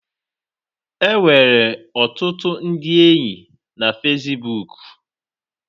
Enwere ọtụtụ ndị enyi na fesibuuku.